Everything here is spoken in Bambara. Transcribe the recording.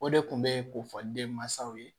O de tun bɛ kofɔ denmansaw ye